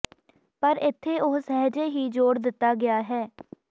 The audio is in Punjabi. ਪਰ ਇੱਥੇ ਉਹ ਸਹਿਜੇ ਹੀ ਜੋੜ ਦਿੱਤਾ ਗਿਆ ਹੈ